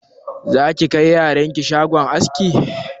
Za ki kai yaran ki shagon askin?